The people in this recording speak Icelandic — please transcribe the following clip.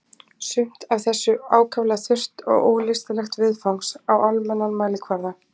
Sumt af þessu ákaflega þurrt og ólystilegt viðfangs á almennan mælikvarða.